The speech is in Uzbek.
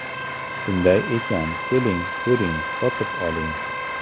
Shunday ekan, keling, ko‘ring, sotib oling!